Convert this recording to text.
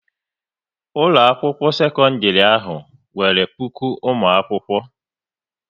Ụlọakwụkwọ sekọndịrị ahụ nwere puku ụmụakwụkwọ